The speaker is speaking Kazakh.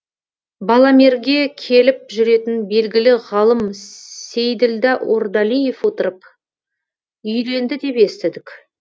баламерге келіп жүретін белгілі ғалым сейділдә ордалиев отырып үйленді деп естідік